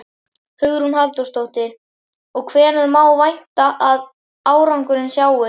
Hugrún Halldórsdóttir: Og hvenær má vænta að árangurinn sjáist?